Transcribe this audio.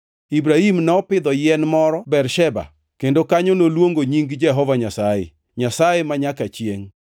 Ibrahim nopidho yien moro Bersheba, kendo kanyo noluongo nying Jehova Nyasaye, Nyasaye manyaka chiengʼ.